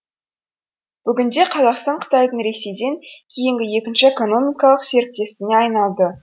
бүгінде қазақстан қытайдың ресейден кейінгі екінші экономикалық серіктесіне айналды